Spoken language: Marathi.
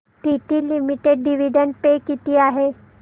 टीटी लिमिटेड डिविडंड पे किती आहे